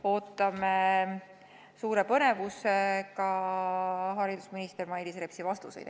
Ootame suure põnevusega haridusminister Mailis Repsi vastuseid.